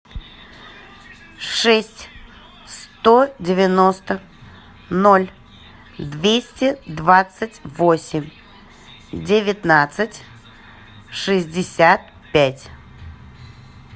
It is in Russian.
шесть сто девяносто ноль двести двадцать восемь девятнадцать шестьдесят пять